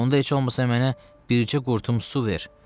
Onda heç olmasa mənə bircə qurtum su ver.